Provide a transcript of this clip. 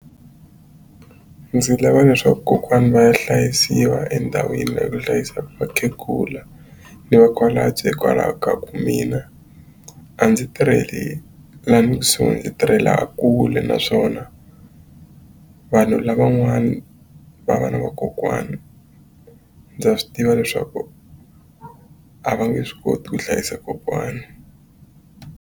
Ndzi lava leswaku kokwani va ya hlayisiwa endhawini leyi ku hlayisiwaku vakhegula ni va hikwalaho ka ku mina a ndzi tirheli lani kusuhi ndzi tirhela laha kule naswona vanhu lavan'wani va va na vakokwana ndza swi tiva leswaku a va nge swi koti ku hlayisa kokwana.